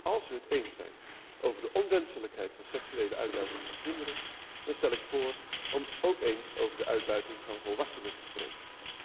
Als wij het eens zijn over de onwenselijkheid van seksuele uitbuiting van kinderen, dan stel ik voor om ook eens over de uitbuiting van volwassenen te spreken.